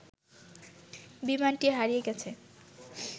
বিমানটি হারিয়ে গেছে